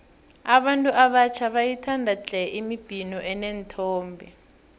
abantu abatjha bayayithanda tle imibhino eneenthombe